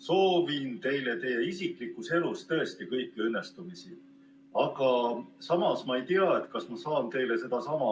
Soovin teile isiklikus elus tõesti kõiki õnnestumisi, aga ma ei tea, kas saan teile sedasama